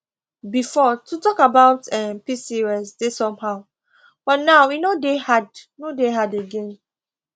before to talk about um pcos dey somehow but now e no dey hard no dey hard again